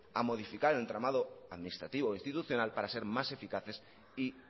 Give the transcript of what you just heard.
a modificar el entramado administrativo institucional para ser más eficaces y